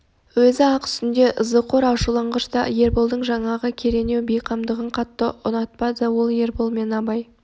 өзі аң үстінде ызақор ашуланғыш та ерболдың жаңағы керенау бейқамдығын қатты ұнатпады ол ербол мен абай